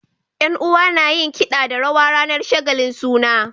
Yan uwa nayin kida da rawa ranar shagalin suna